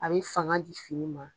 A bɛ fanga di fini ma.